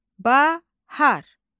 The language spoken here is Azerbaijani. Bahar.